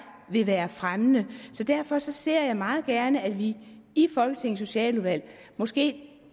vil være fremmende så derfor ser jeg meget gerne at vi i folketingets socialudvalg måske